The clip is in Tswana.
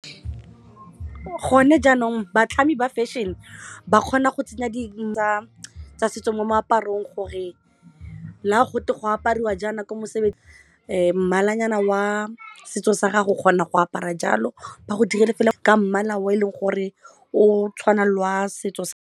Gone jaanong batlhami ba fashion-e ba kgona go tsenya dintlha tsa setso mo moaparong gore la gote go apariwa jaana ko mosebetsing mmalanyana wa setso sa gago o kgona go apara jalo ba go direla fela ka mmala o e leng gore o tshwana le wa setso sa.